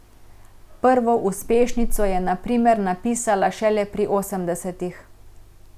Prvo uspešnico je na primer napisala šele pri osemdesetih.